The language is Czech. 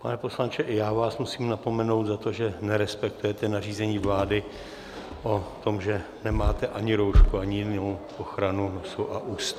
Pane poslanče, i já vás musím napomenout za to, že nerespektujete nařízení vlády o tom, že nemáte ani roušku, ani jinou ochranu nosu a úst.